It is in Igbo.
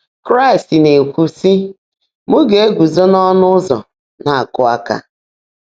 Kraịst na-ekwu, sị, “ M na-eguzo n'ọnụ ụzọ na-akụ aka.